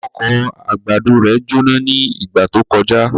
Oko àgbàdo rẹ̀ jóná ní ìgbà tó kọjá.